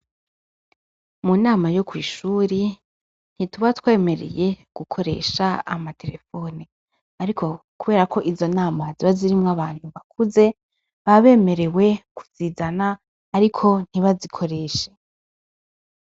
Mu nama yo kw’ ishuri ,ntituba twemereye gukoresha amaterefone ariko kubera Ko izo nama ziba zirimwo abantu bakuze ,baba bemerewe kuzizana ariko ntibazikoreshe.